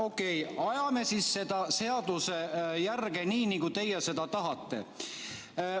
Okei, ajame siis seaduses järge nii, nagu teie seda tahate.